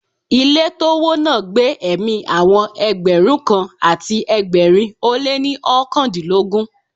Ilé tó wó náà gba ẹ̀mí àwọn Ẹgbẹ̀rún kan àti ẹgbẹ̀rin ó lé ní oókan dín lógún.